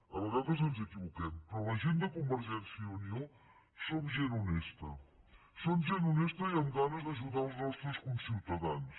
a vegades ens equivoquem però la gent de convergència i unió som gent honesta som gent honesta i amb ganes d’ajudar els nostres conciutadans